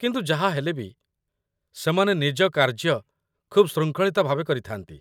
କିନ୍ତୁ ଯାହା ହେଲେ ବି, ସେମାନେ ନିଜ କାର୍ଯ୍ୟ ଖୁବ୍ ଶୃଙ୍ଖଳିତ ଭାବେ କରିଥାନ୍ତି